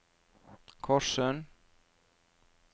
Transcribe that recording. Korssund